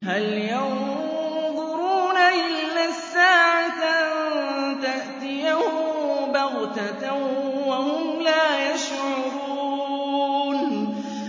هَلْ يَنظُرُونَ إِلَّا السَّاعَةَ أَن تَأْتِيَهُم بَغْتَةً وَهُمْ لَا يَشْعُرُونَ